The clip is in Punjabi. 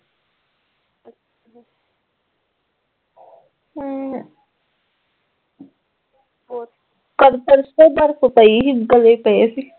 ਕੱਲ ਪਰਸੋਂ ਬਰਫ਼ ਪਈ ਸੀ ਗੜੇ ਪਏ ਸੀ